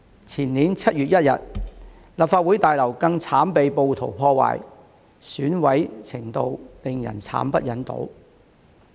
前年7月1日，立法會大樓更慘被暴徒破壞，損毀程度令人慘不忍睹。